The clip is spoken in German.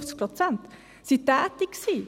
40, 50 Prozent – tätig waren.